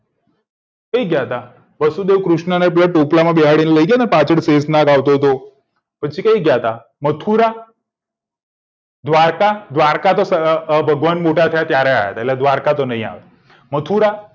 ક્યાં ગયા તા વાસુદેવ કૃષ્ણ ને પેલા ટોપલા માં બેસાડીને લઇ ગયા તા પછી ક્યાં ગયા તા મથુરા દ્વારકા દ્વારકા તો ભગવાન મોટા થયા તા તારે ગયા તા એટલે દ્વારકા તો નહિ આવે મથુરા